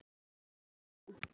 Tía, ekki fórstu með þeim?